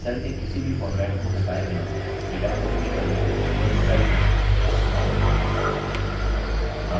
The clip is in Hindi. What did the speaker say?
cell के किसी भी फॉर्मेट को हटाए बिना data को डिलीट करने के लिए केवल cell को चुनें